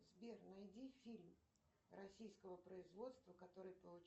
сбер найди фильм российского производства который получил